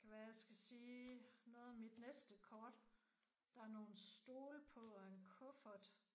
Kan være jeg skal sige noget om mit næste kort. Der er nogle stole på og en kuffert